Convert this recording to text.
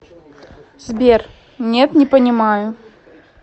сбер нет не понимаю